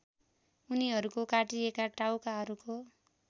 उनीहरूको काटिएका टाउकाहरूको